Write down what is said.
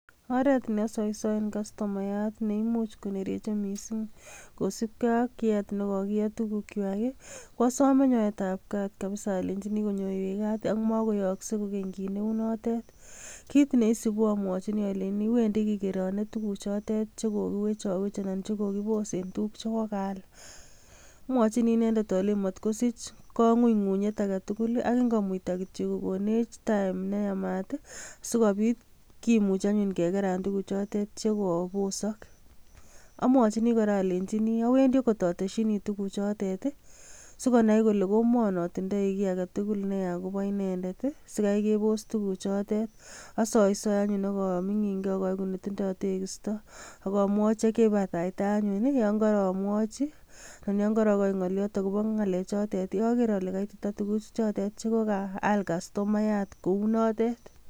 Oret neosoisoen kastomayaat neimuch konereche missing kosiibge ak yiet nekokiet tuguukchwak. Ko asome nyoetabgaat kabisa alenyiini konyoywech gaat ak makoyooksei kokeny kit neunotet. Kit neisiibu amwochini alenyiini wendii kikeronee tuguuchotet, chekokiwech awech anan ko tuguuk chekokiboos en tuguuk chekokaal. Amwochini inendet alenyini motkosich kong'unyng'unyet agetugul ak ingomuita kityook kokonech taem neyaamat sikobiit kimuch anyun kikeraan tuguuchotet. Amwochini alenyiini awendii okot otesyiini tuguchotet, sikonai kole komon otindoi kit agetugul neyaa akobo inendet sikai keboos tuguuchotet. Asoisoe anyun ak amingiin key, ak aigu netinye tekiistoo akomwochi ak yeibatatai anyun yon koromwooichi, ak yon korokochi ngolyoot akobo ngalechetot agere ale kaititaa tuguchotet chekokaal kastomayat kounotet.